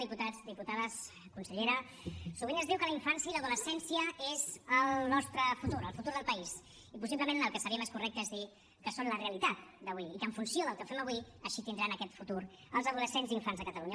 diputats diputades consellera sovint es diu que la infància i l’adolescència és el nostre futur el futur del país i possiblement el que seria més correcte és dir que són la realitat d’avui i que en funció del que fem avui així tindran aquest futur els adolescents i infants de catalunya